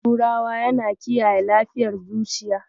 Dankalin turawa yana kiyaye lafiyar zuciya.